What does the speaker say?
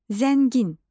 Zəngin.